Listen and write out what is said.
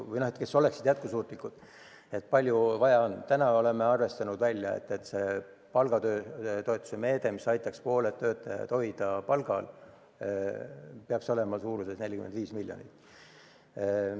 Täna oleme välja arvestanud, et palgatoetuse meede, mis aitaks pooled töötajad palgal hoida, peaks olema 45 miljonit eurot.